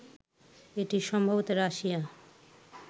এটি সম্ভবত রাশিয়া